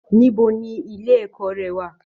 Níbo ní ilé ẹ̀kọ́ rẹ wà?